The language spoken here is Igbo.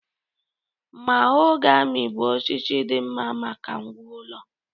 Mahogamy bụ osisi dị mma maka ngwá ụlọ